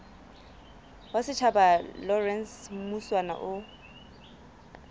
wa setjhaba lawrence mushwana o